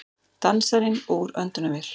Dansarinn úr öndunarvél